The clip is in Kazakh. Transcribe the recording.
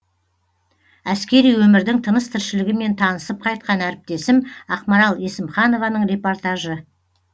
әскери өмірдің тыныс тіршілігімен танысып қайткан әріптесім ақмарал есімханованың репортажы